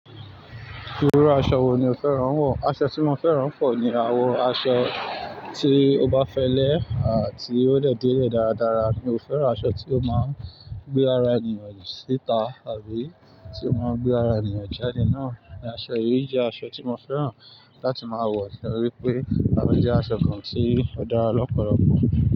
Irú aṣọ wo ni o fẹ́ rán wọ̀? Aṣọ tí mo fẹ́ rán pọ̀ ni awọ aṣọ tí o bá fẹlẹ́ àti ó lè dé ilẹ̀ dáradára. Mi ò fẹ́ rán aṣọ tí ó máa ń gbé ara ènìyàn síta àbí tí ó máa ń gbé ara ènìyàn jáde. Náà ni aṣọ yìí jẹ́ aṣọ tí mo fẹ́ rán láti máa wọ̀ nítorí pé àwọn jẹ́ aṣọ kan tí ó dára lọ́pọ̀lọpọ̀